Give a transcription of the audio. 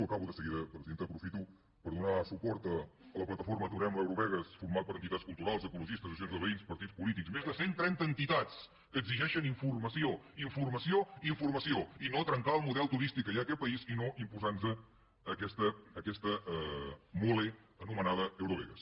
acabo de seguida presidenta aprofito per donar suport a la plataforma aturem l’eurovegas formada per entitats culturals ecologistes associacions de veïns partits polítics més de cent trenta entitats que exigeixen informació informació i informació i no trencar el model turístic que hi ha en aquest país i no imposant nos aquesta mole anomenada eurovegas